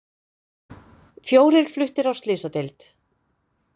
Fjórir fluttir á slysadeild